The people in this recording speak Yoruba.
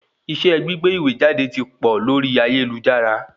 Iṣẹ́ gbígbé ìwé jáde ti pọ̀ lórí ayélujára